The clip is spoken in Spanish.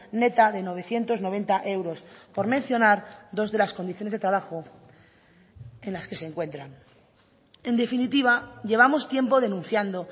neta de novecientos noventa euros por mencionar dos de las condiciones de trabajo en las que se encuentran en definitiva llevamos tiempo denunciando